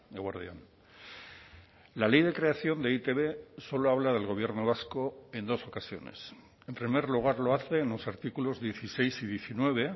eguerdi on la ley de creación de e i te be solo habla del gobierno vasco en dos ocasiones en primer lugar lo hace en los artículos dieciséis y diecinueve